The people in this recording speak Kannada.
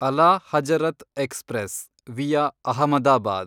ಅಲಾ ಹಜರತ್ ಎಕ್ಸ್‌ಪ್ರೆಸ್(ವಿಯಾ ಅಹಮದಾಬಾದ್)